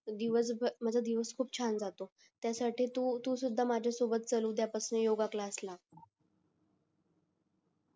दिवस पण छान जातो त्याच्यासाठी तू पण चल माझ्यासोबत उद्या पासून योग क्लासला